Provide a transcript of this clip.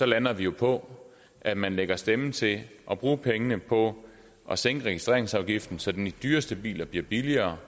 lander det jo på at man lægger stemmer til at bruge pengene på at sænke registreringsafgiften så de dyreste biler bliver billigere